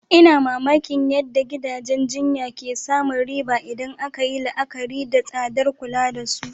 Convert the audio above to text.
Ina mamakin yadda gidajen jinya ke samun riba idan aka yi la'akari da tsadar kula da su.